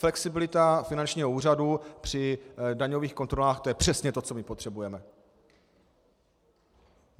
Flexibilita finančního úřadu při daňových kontrolách, to je přesně to, co my potřebujeme!